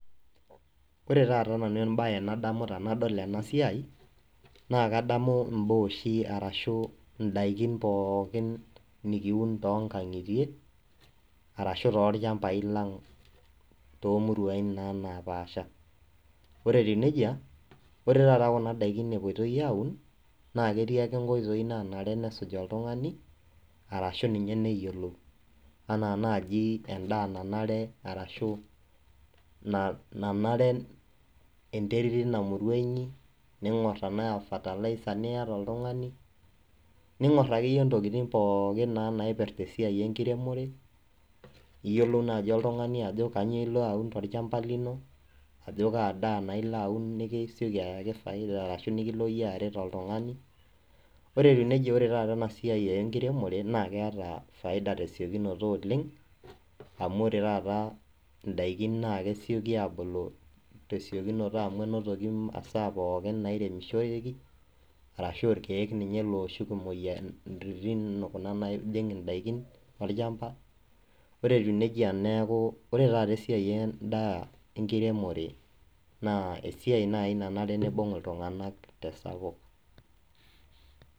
ore taata nanu ebaye nadamu tanadol enasiai naa kadamu ibaa oshi ashu idakin pooki nikiun too nkang'itie aashu too ilchambai lang, too imuruain naapaasha ore etiu nejia naa ore taata kuna daikin epuoi aun naa ketii ake inkoitoi naanare nesuj oltung'ani, arashu ninye neyiolou anaa naaji edaa nanare, nanare enterit tina kop inyi ning'or tenaa fertilizer niyata oltung'ani ning'or akeyie intokitin pooki naipirta esiai enkiremore, iyiolou naaji oltung'ani ajo kanyioo ilo aun tolchamba lino, ajo kaa daa naa ilo aun nikisioki ayaki faida, ashu nikilo iyie aret oltung'ani ore teneji ore taata ena esiai enkiremore keeta faida tesiokinoto oleng' amu ore taata idakin naa kesioki aabulu, tesiokinoto amu enotoki imasaa pooki nairemishoreki, arashu ilkeek looshuk imoyiaritin kuna naajing' idaikin olchamba ore etiu neijia naa ore taata esiai edaa naa enkiremore naa esiai naaji nayieu nibung' itunganak tesapuk.